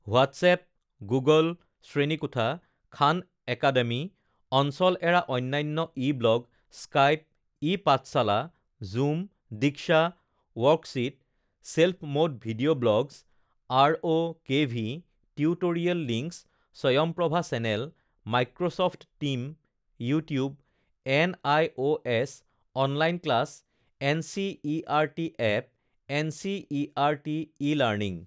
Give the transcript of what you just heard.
WhatsApp, Google শ্ৰেণীকোঠা, Khan Academy, অঞ্চল এৰা অন্যান্য e blog, Skype, e Pathshala, Zoom, Diksha, worksheet, self mode video, blogs, আৰঅ KV, tutorial links, Swayamprabha channel, Microsoft team, YouTube, N I O S online class, NCERT app, NCERT e learning